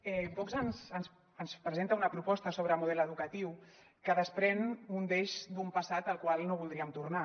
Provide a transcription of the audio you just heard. vox ens presenta una pro·posta sobre model educatiu que desprèn un deix d’un passat al qual no voldríem tor·nar